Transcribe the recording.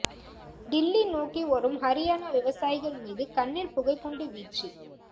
தில்லி நோக்கி வரும் ஹரியாணா விவசாயிகள் மீது கண்ணீர் புகைக்குண்டு வீச்சு